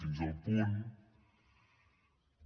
fins al punt que